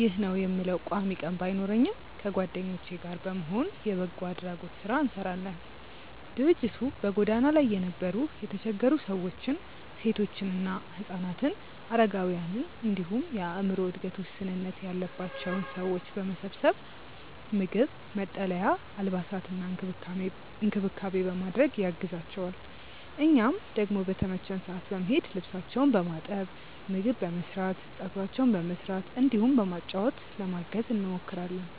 (ይህ ነው የምለው ቋሚ ቀን ባይኖረኝም) ከጓደኞቼ ጋር በመሆን የበጎ አድራጎት ስራ እንሰራለን። ድርጅቱ በጎዳና ላይ የነበሩ የተቸገሩ ሰዎችን፣ ሴቶችና ህፃናትን፣ አረጋውያንን እንዲሁም የአዕምሮ እድገት ውስንነት ያለባቸውን ሰዎች በመሰብሰብ ምግብ፣ መጠለያ፣ አልባሳትና እንክብካቤ በማድረግ ያግዛቸዋል። እኛም ደግሞ በተመቸን ሰዓት በመሄድ ልብሳቸውን በማጠብ፣ ምግብ በመስራት፣ ፀጉራቸውን በመስራት እንዲሁም በማጫወት ለማገዝ እንሞክራለን።